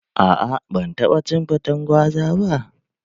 Aa, ban taɓa cin faten gwaza ba